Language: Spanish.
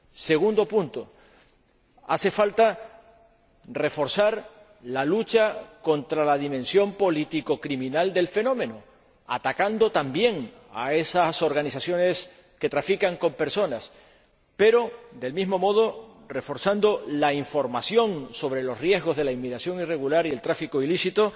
Segundo punto hace falta reforzar la lucha contra la dimensión políticocriminal del fenómeno, atacando también a esas organizaciones que trafican con personas, pero, del mismo modo, reforzando la información sobre los riesgos de la inmigración irregular y el tráfico ilícito,